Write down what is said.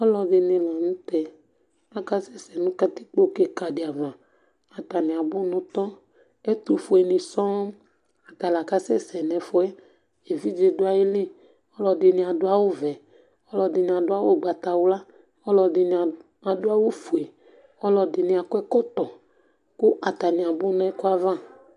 Alʋɛdìní la ntɛ Akasɛsɛ nu katikpo kìka di ava Atani abʋ ntɔ Ɛtʋfʋe ni sɔɔ Ata la kasɛsɛ nʋ ɛfʋɛ evidze du ayìlí Alʋɛdìní adu awu vɛ Alʋɛdìní adu awu ugbatawla Alʋɛdìní adu awu fʋe Alʋɛdìní akɔ ɛkɔtɔ kʋ atani abʋ nʋ ɛkʋɛ ava